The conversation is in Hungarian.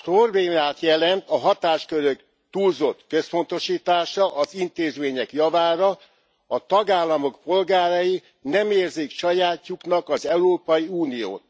Problémát jelent a hatáskörök túlzott központosítása az intézmények javára, a tagállamok polgárai nem érzik sajátjuknak az Európai Uniót.